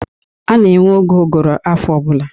A na-enwe oge ụgụrụ afọ ọbụla